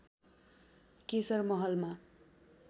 केशर महलमा